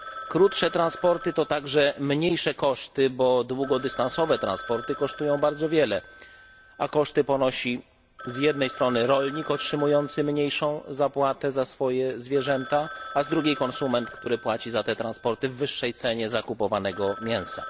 Krótsze transporty to także mniejsze koszty, bo długodystansowe transporty kosztują bardzo wiele, a koszty ponosi z jednej strony rolnik otrzymujący mniejszą zapłatę za swoje zwierzęta, a z drugiej konsument, który płaci za te transporty w wyższej cenie kupowanego mięsa.